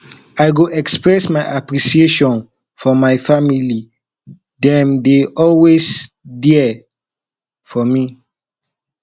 i go express my appreciation for my family dem dey always there for me